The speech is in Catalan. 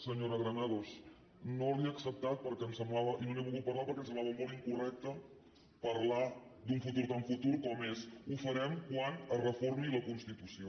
senyora granados no la hi acceptat i no n’he volgut parlar perquè em semblava molt incorrecte parlar d’un futur tan futur com és ho farem quan es reformi la constitució